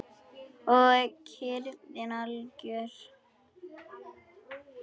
Og kyrrðin algjör.